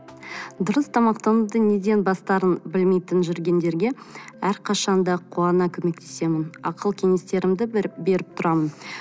дұрыс тамақтануды неден бастарын білмейтін жүргендерге әрқашанда қуана көмектесемін ақыл кеңестерімді беріп тұрамын